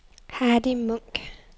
Hardy Munk